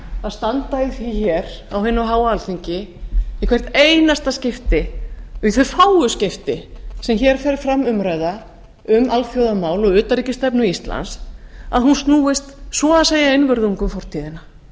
að standa í því hér á hinu háa alþingi í hvert einasta skipti og í þau fáu skipti sem hér fer fram umræða um alþjóðamál og utanríkisstefnu íslands að hún snúist svo að segja einvörðungu um fortíðina